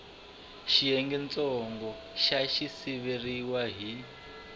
xiyengentsongo xa xi siviwile hi